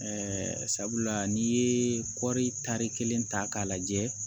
sabula n'i ye kɔri tari kelen ta k'a lajɛ